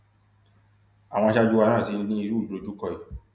àwọn aṣáájú wa náà ti ní irú ìdojúkọ yìí